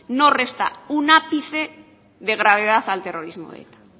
no resta un ápice de gravedad al terrorismo de eta